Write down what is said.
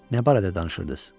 Nə barədə danışırdınız?